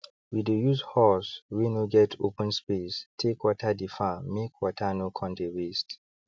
we dey use hose wey no get open space take water the farmmake water no con dey waste